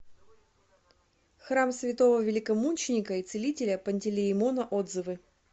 храм святого великомученика и целителя пантелеимона отзывы